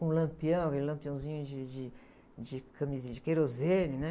Com um lampião, e lampiãozinho de, de, de, de querosene, né?